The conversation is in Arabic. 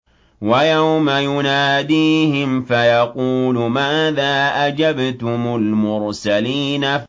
وَيَوْمَ يُنَادِيهِمْ فَيَقُولُ مَاذَا أَجَبْتُمُ الْمُرْسَلِينَ